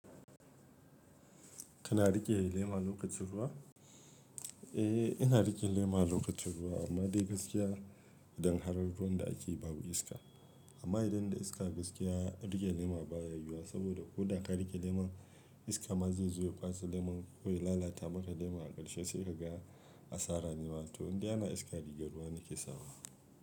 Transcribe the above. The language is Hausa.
Kana riƙe lema lokacin ruwa? Eh, ina riƙe lema lokacin ruwa amma dai gaskiya idan har ruwan da ake yi babu iska. Amma idan da iska gaskiya riƙe lema baya yiwuwa saboda ko da ka riƙe lema iska ma zai zo ya kwashe lemon ko ya lalata maka lema a ƙarshe sai ka ga asara ne ma. To indai ana iska rigar ruwa nake sawa.